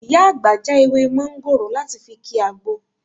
Ìyá àgbà já ewé mọ́ńgòrò láti fi ki àgbo